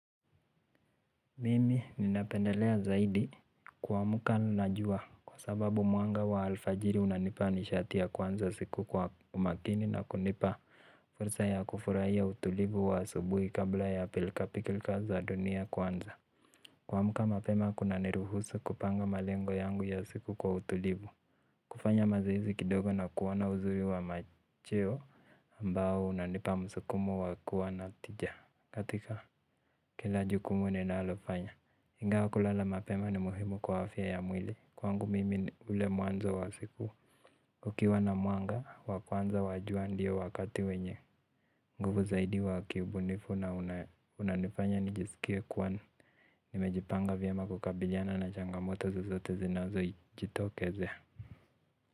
Mimi ninapendelea zaidi kuamka na jua kwa sababu mwanga wa alfajiri unanipa nishati ya kuanza siku kwa umakini na kunipa fursa ya kufurahia utulivu wa asubuhi kabla ya pilkapilka za dunia kuanza. Kuamka malema kunaniruhusu kupanga malengo yangu ya siku kwa utulivu. Kufanya mazoezi kidogo na kuona uzuri wa macheo ambao unanipa msukumo wa kuwa na tija. Katika kila jukumu ninalofanya ingawa kulala mapema ni muhimu kwa afya ya mwili. Kwangu mimi ule mwanzo wa siku kukiwa na mwanga, wa kwanza wa jua ndio wakati wenye nguvu zaidi wa kibunifu na unanifanya nijisikie kuwa nimejipanga vyema kukabiliana na changamoto zizote zinazojitokezea.